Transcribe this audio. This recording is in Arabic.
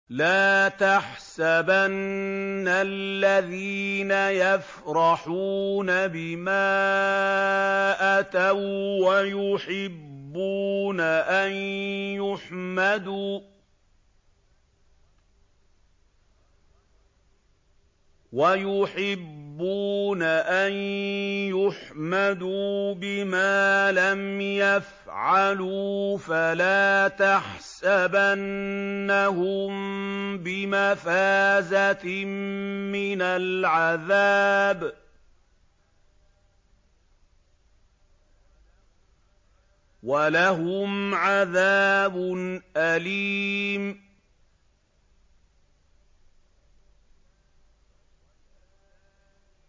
لَا تَحْسَبَنَّ الَّذِينَ يَفْرَحُونَ بِمَا أَتَوا وَّيُحِبُّونَ أَن يُحْمَدُوا بِمَا لَمْ يَفْعَلُوا فَلَا تَحْسَبَنَّهُم بِمَفَازَةٍ مِّنَ الْعَذَابِ ۖ وَلَهُمْ عَذَابٌ أَلِيمٌ